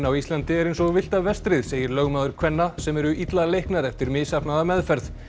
á Íslandi er eins og villta vestrið segir lögmaður kvenna sem eru illa leiknar eftir misheppnaða meðferð